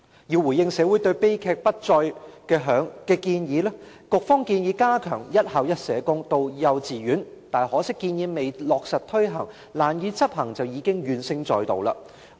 為回應社會對悲劇不再的訴求，局方建議加強幼稚園"一校一社工"的措施，可惜建議未落實推行，便因難以執行而令社工界怨聲載道。